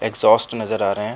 Exhaust नज़र आ रहे है।